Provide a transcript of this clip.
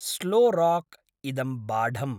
स्लोराक् इदं बाढम्।